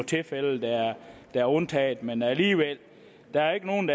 tilfælde der er undtaget men alligevel der er ikke nogen